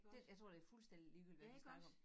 Den jeg tror det fuldstændig ligegyldigt hvad vi snakker om